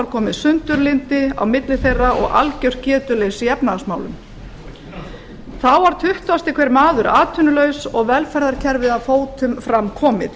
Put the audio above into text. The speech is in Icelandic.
komið sundurlyndi á milli þeirra og algjört getuleysi í efnahagsmálum þá var tuttugasti hver maður atvinnulaus og velferðarkerfið að fótum fram komið